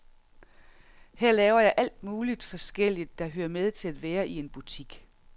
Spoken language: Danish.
Her laver jeg alt muligt forskelligt, der hører med til at være i en butik.